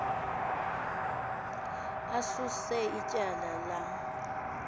asuse ityala lam